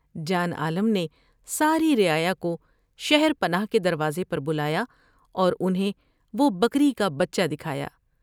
جان عالم نے ساری رعایا کو شہر پناہ کے دروازے پر بلایا اور انھیں وہ بکری کا بچہ دکھایا ۔